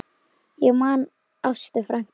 Ég man Ástu frænku.